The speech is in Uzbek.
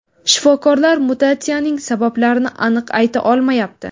Shifokorlar mutatsiyaning sabablarini aniq ayta olmayapti.